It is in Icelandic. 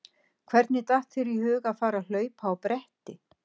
Hvernig datt þér í hug að fara að hlaupa á bretti?